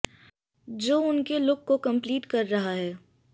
जो उनके लुक को कंप्लीट कर रहा हैं